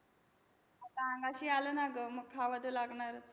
आता अंगाशी आलं ना गं. मग खावं तर लागणारच.